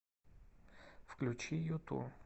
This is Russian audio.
включи юту